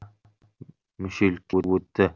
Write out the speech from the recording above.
мүшелікке өтті